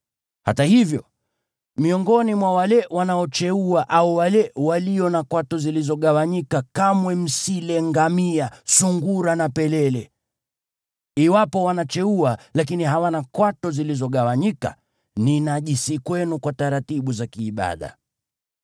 Hata hivyo, miongoni mwa wale wanaocheua au wale walio na kwato zilizogawanyika kamwe msile ngamia, sungura na pelele. Iwapo wanacheua, lakini hawana kwato zilizogawanyika; ni najisi kwenu kwa taratibu za kiibada.